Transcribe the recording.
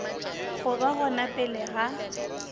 go ba gona pele ga